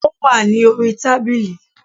Ó wà ní orí tábìlì